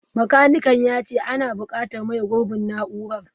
Makanikan ya ce ana bukatar maye gurbin na'urar.